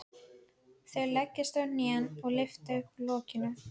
Þau leggjast á hnén og lyfta upp lokinu.